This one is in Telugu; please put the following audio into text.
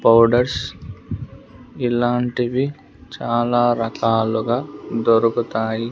పౌడర్స్ ఇలాంటివి చాలా రకాలుగా దొరుకుతాయి.